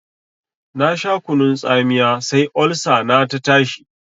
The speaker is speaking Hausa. Na sha kunun tsamiya sai Olsa na ta tashi.